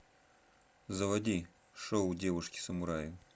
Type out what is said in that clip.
заводи шоу девушки самураи